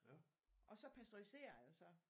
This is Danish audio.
Og så pasteuriserer jeg det så